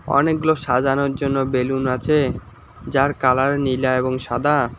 অনেকগুলো সাজানোর জন্য বেলুন আছে যার কালার নীলা এবং সাদা।